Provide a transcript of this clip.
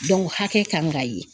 hakɛ kan ka ye.